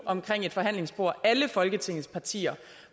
omkring et forhandlingsbord alle folketingets partier